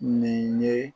Nin ye